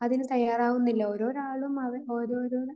അതിന് തയ്യാറാവുന്നില്ല. ഓരോരാളും ഓരോരോ